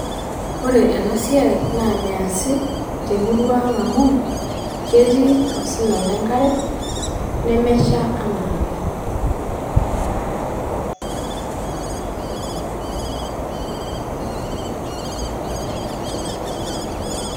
Ore ena siai naa measi temurrua ang amu ketii osina lenkare nemesha anaake.